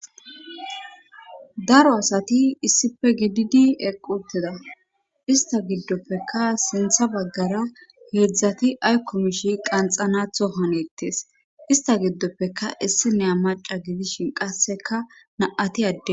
Daro asati issife gididi eqquuteda ista giddoppeka sintha baggara heedzdzati aykomishi qanxanatho hanettes ista giddoppeka issineya maca gidishin qasseka naati adde.